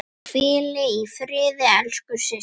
Hvíl í friði elsku systir.